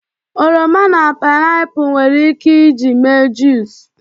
oroma na painiapu nwere ike iji mee juice